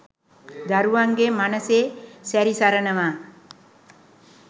දරුවන්ගේ මනසෙ සැරි සරනවා